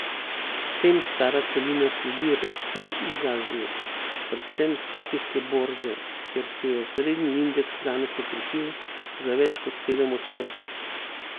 S tem stara celina sledi rasti iz Azije, predvsem s tokijske borze, kjer se je osrednji indeks danes okrepil za več kot sedem odstotkov.